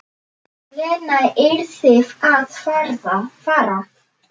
Lena yrði að fara.